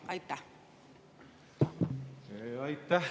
Aitäh!